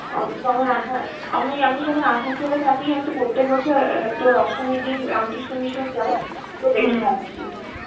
অ যেমন আমি~ আমি যখন আসানসোলে থাকি, আমি তো প্রত্যেক বছর অ্যাঁ তোর অষ্টমীর দিন রামকৃষ্ণ মিশন যাই, তো দেখে আসি.